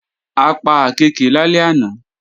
A pa àkééke lálẹ́ àná